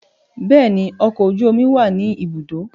Bẹẹni, ọkọ oju omi wa ni ibudo